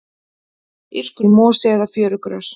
írskur mosi eða fjörugrös